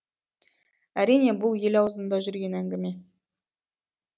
әрине бұл ел аузында жүрген әңгіме